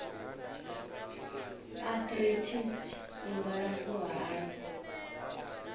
arthritis i nga alafhiwa hani